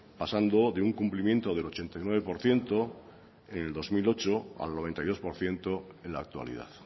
pasando de un cumplimiento del ochenta y nueve por ciento en el dos mil ocho al noventa y dos por ciento en la actualidad